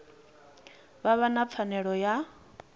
vha vha na pfanelo ya